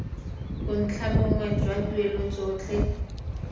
bontlha bongwe jwa dituelo tsotlhe